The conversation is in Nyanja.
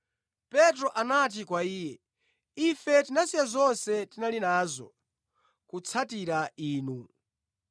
Petro anati kwa Iye, “Ife tinasiya zonse tinali nazo kutsatira Inu!”